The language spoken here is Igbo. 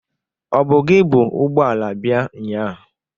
Ọ bụ gị bu ụgbọala bịa nnyaa?